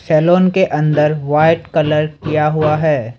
Salon के अंदर white colour किया हुआ है।